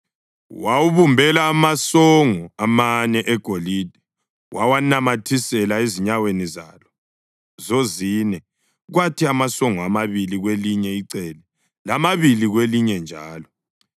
Wawubumbela amasongo amane egolide wawanamathisela ezinyaweni zalo zozine, kwathi amasongo amabili kwelinye icele lamabili kwelinye njalo.